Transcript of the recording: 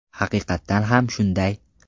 Haqiqatan ham shunday.